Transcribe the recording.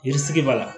Yiri sigi b'a la